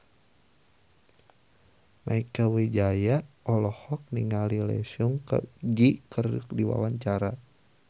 Mieke Wijaya olohok ningali Lee Seung Gi keur diwawancara